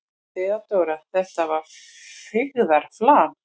THEODÓRA: Þetta var feigðarflan.